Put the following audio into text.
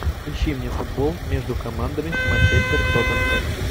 ищи мне футбол между командами манчестер тоттенхэм